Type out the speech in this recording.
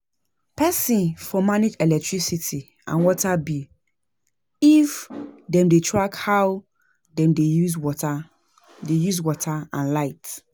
Person for manage electricity and water bill if dem dey track how dem dey use water dey use water and light